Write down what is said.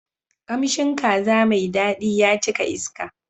Kamshin kaza mai daɗi ya cika iska.